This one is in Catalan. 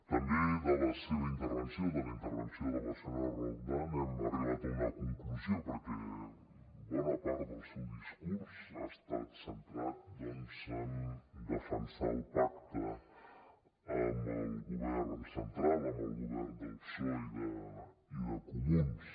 també de la seva intervenció de la intervenció de la senyora roldán hem arribat a una conclusió perquè bona part del seu discurs ha estat centrat doncs en defensar el pacte amb el govern central amb el govern del psoe i de comuns